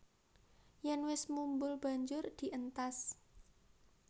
Yèn wis mumbul banjur dientas